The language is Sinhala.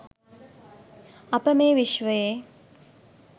අප මේ විශ්වයේ